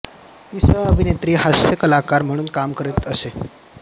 ती सहअभिनेत्री व हास्यकलाकार म्हणून काम करीत असे